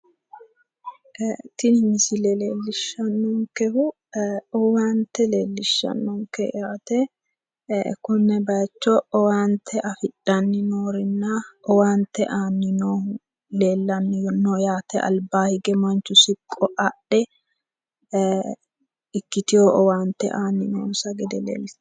Tini misile leellishannokehu owaante leellishshannonke yaate konne bayiicho owaante afidhanni noorenna owaante aanni noohu leellanni no yaate manchu siqqo adhe ikkiteyo owaante aanni noonsa gede leellishshanno .